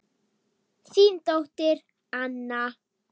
Þín dóttir Anna.